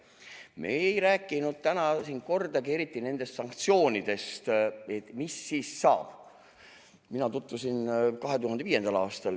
Me ei rääkinud täna siin kordagi sanktsioonidest, et mis saab siis.